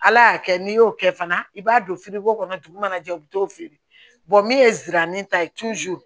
Ala y'a kɛ n'i y'o kɛ fana i b'a don kɔnɔ dugu mana jɛ u bi t'o feere min ye ziranin ta ye